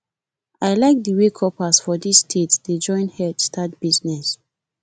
i like the wey corpers for this state dey join head start business